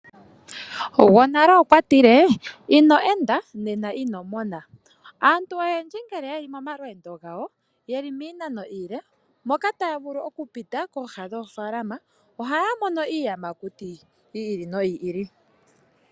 Omukulu gwonale okwa tile inoo enda nena ino mona. Aantu oyendji ngele ye li momalweendo gawo ano miinano iile na otaa vulu kupita pooha dhoofaalama ohaa mono iiyamakuti yi ili noyi ili.